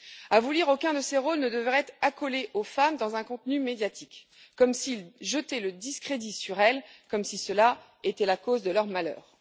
À vous lire, aucun de ces rôles ne devrait être accolé aux femmes dans un contenu médiatique comme s'il jetait le discrédit sur elles, comme si cela était la cause de leur malheur.